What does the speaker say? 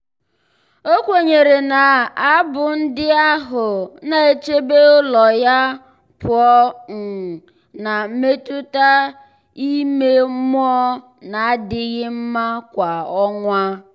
o kwenyere na abụ ndị ahụ na-echebe ụlọ ya pụọ um na mmetụta ime mmụọ na-adịghị mma kwa ọnwa.